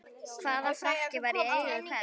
Hvaða frakki var í eigu hvers?